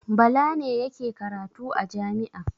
Bala ne yake karatu a jami'a.